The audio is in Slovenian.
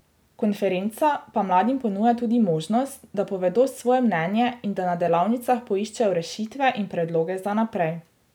Konferenca pa mladim ponuja tudi možnost, da povedo svoje mnenje in da na delavnicah poiščejo rešitve in predloge za naprej.